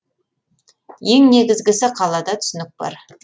ең негізгісі қалада түсінік бар